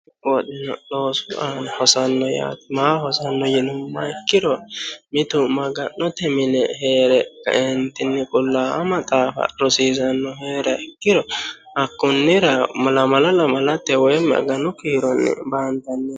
kuni woxino loosu aana hosanno yaate mayi loosi aana hosanno yinummoha ikkiro mitu maga'note mine heere kaeentinni qullaawa maxaafa rosiisannohu heeriha ikkiro hakkonnira lamala lamalate woy aganu kiiro baantanniho.